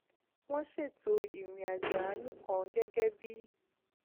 wón ṣètò ìrìn àjò àánú kan gégé bí